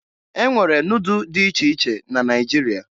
E nwere nudụ dị iche iche na Naịjirịa